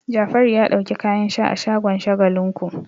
Jafaru ya ɗauki kayan sha a shagon Shagalinku.